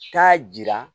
Taa jira